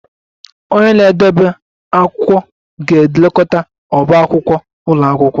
Onye na-edebe akwụkwọ ga-elekọta ọbá akwụkwọ ụlọ akwụkwọ